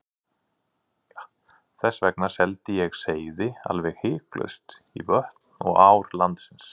Þess vegna seldi ég seiði alveg hiklaust í vötn og ár landsins.